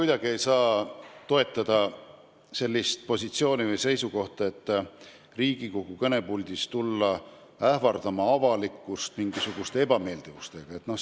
Ma ei saa mitte kuidagi toetada seda, et Riigikogu kõnepuldis ähvardatakse avalikkust mingisuguste ebameeldivustega.